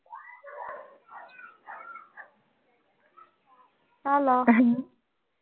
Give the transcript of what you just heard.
Hello